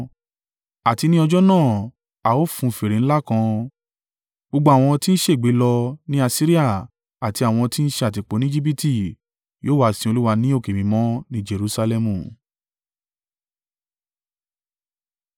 Àti ní ọjọ́ náà, a ó fun fèrè ńlá kan. Gbogbo àwọn tí ń ṣègbé lọ ní Asiria àti àwọn tí ń ṣe àtìpó ní Ejibiti yóò wá sin Olúwa ní òkè mímọ́ ní Jerusalẹmu.